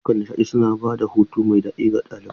Ayyukan nishaɗi suna ba da hutu mai daɗi ga ɗalibai.